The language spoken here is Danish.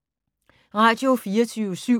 Radio24syv